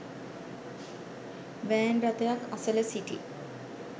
van රථයක් අසල සිටි